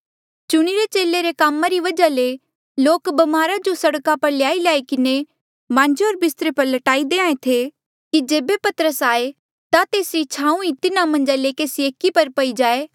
चुणिरे चेले रे कामा री वजहा ले लोक ब्मारा जो सड़का पर ल्याईल्याई किन्हें मांजे होर बिस्तरे पर लट्याई देहां ऐें थे कि जेबे पतरस आये ता तेसरी छाऊँ ई तिन्हा मन्झा ले केसी एकी पर पई जाए